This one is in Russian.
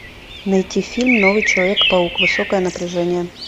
найти фильм новый человек паук высокое напряжение